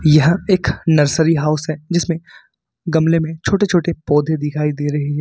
यह एक nursery house है जिसमें गमले में छोटे छोटे पौधे दिखाई दे रहे हैं।